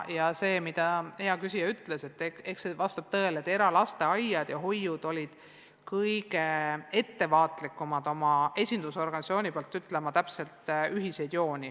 Ja see, mida hea küsija ütles, vastab tõele – eralasteaiad ja -hoiud olid kõige ettevaatlikumad ütlema oma esindusorganisatsiooni vahendusel täpselt ühiseid jooni.